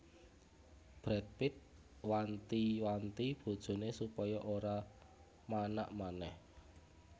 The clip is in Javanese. Brad Pitt wanti wanti bojone supaya ora manak maneh